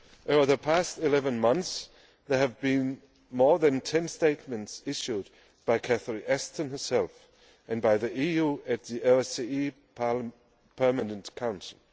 Over the past 11 months there have been more than 10 statements issued by Catherine Ashton herself, and by the EU, at the OSCE Permanent Council.